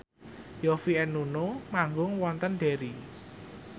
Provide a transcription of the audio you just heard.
Yovie and Nuno manggung wonten Derry